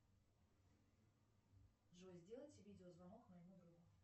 джой сделайте видеозвонок моему другу